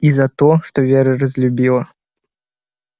и за то что вера разлюбила